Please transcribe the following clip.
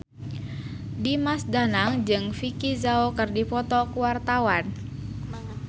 Dimas Danang jeung Vicki Zao keur dipoto ku wartawan